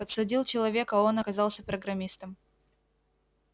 подсадил человека а он оказался программистом